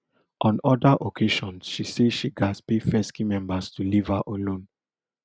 on oda occasions she say she gatz pay fesci members to leave her alone